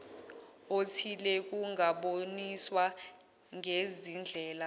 othile kungaboniswa ngezindlela